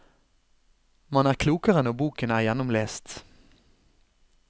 Man er klokere når boken er gjennomlest.